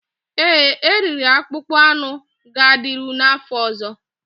Ee, eriri akpụkpọ anụ ga-adịru n'afọ ọzọ